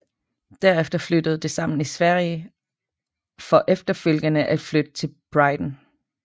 Derefter flyttede de sammen i Sverige for efterfølgende at flytte til Brighton